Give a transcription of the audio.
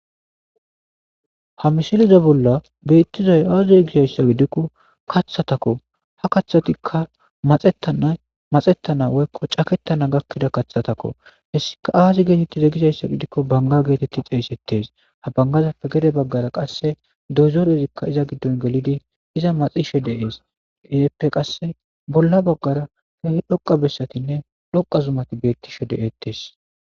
Ha misileza bolla beetizay aaze gizayssa gidiko kathatako ha kathatika maxetana woyko caketana gakida kathatako hessika aaze geeteti guzayssa gidiko banga geeteti xeysetes ha bangazappe gede baggara doyzorezika iza gidon gelidi iza maxishe de'es izappe qase bolla baggara dhoqa bessatinne dhoqa zumati beetishe de'etes.